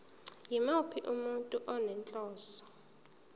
yimuphi umuntu onenhloso